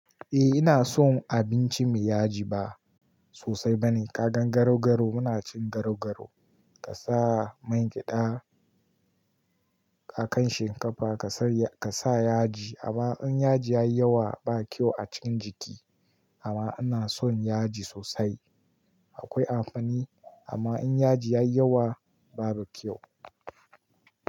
Eh ina son abinci mai yaji ba sosai bane. Kaga garau-garau muna cin garau-garau ka sa man gyada a kan shinkafa ka sa yaji amma in yaji yayi yawa ba kyau a cikin jiki amma ina son yaji sosai akwai amfani amma in yaji yayi yawa babu kyau.